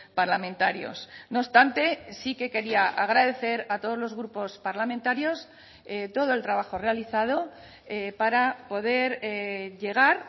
parlamentarios no obstante sí que quería agradecer a todos los grupos parlamentarios todo el trabajo realizado para poder llegar